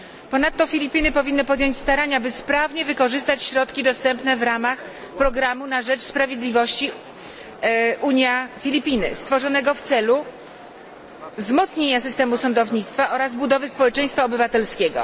Ponadto Filipiny powinny podjąć starania, by sprawnie wykorzystać środki dostępne w ramach programu na rzecz sprawiedliwości Unia Filipiny, stworzonego w celu wzmocnienia systemu sądownictwa oraz budowy społeczeństwa obywatelskiego.